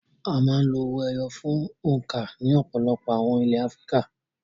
A máa ń lo owó ẹyọ fún òǹkà ní ọ̀pọ̀lọpọ̀ àwọn ilẹ̀ Áfíríkà.